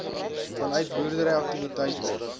vanuit boerdery aktiwiteite